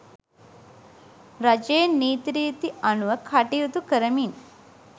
රජයේ නීති රීති අනුව කටයුතු කරමින්